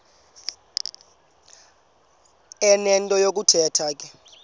enento yokuthetha ke